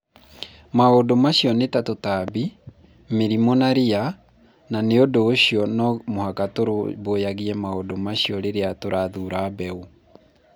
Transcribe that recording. Maũndũ macio nĩ ta tũtambi, mĩrimũ na ria, na nĩ ũndũ ũcio no mũhaka tũrũmbũyagie maũndũ macio rĩrĩa tũrathuura mbeũ.